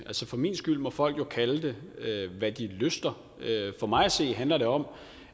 for min skyld må folk jo kalde hvad de lyster for mig at se handler det om